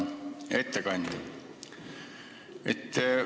Hea ettekandja!